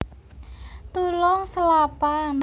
Tulung Selapan